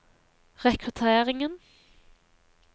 rekrutteringen